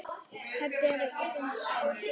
Þetta er ekkert fyndið, Nikki.